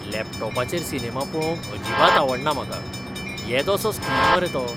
लॅपटॉपाचेर cinema पळोवंक अजिबात आवडना म्हाका. येदोसो स्क्रीन मरे तो.